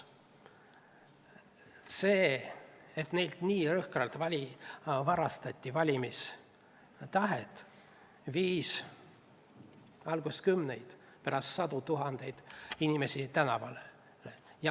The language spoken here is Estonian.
See, et neilt nii jõhkralt varastati valimistahe, tõi alguses kümned ja hiljem sajad tuhanded inimesed tänavale.